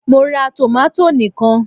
Mo ra tòmátò ni kan